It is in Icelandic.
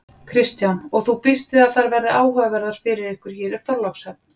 Kristján: Og þú býst við að þær verði áhugaverðar fyrir ykkur hér í Þorlákshöfn?